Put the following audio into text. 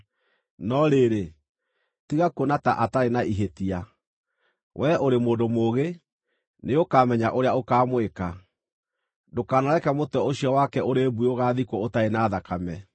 No rĩrĩ, tiga kuona ta atarĩ na ihĩtia. Wee ũrĩ mũndũ mũũgĩ; nĩũkamenya ũrĩa ũkaamwĩka. Ndũkanareke mũtwe ũcio wake ũrĩ mbuĩ ũgaathikwo ũtarĩ na thakame.”